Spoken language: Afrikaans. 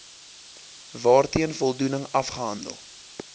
waarteen voldoening afgehandel